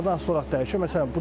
İstixanadan asılı olaraq dəyişir.